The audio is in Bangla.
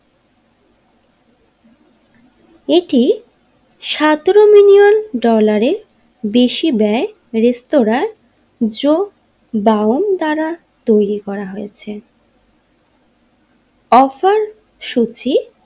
এটি সতেরো মিলিয়ন ডলারে বেশি ব্যয়ের রেস্তোরাঁয় জো দাউন দ্বারা তৈরি করা হয়েছে অফার সূচি।